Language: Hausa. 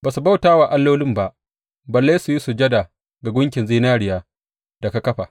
Ba su bauta wa allolin ba balle su yi sujada ga gunkin zinariya da ka kafa.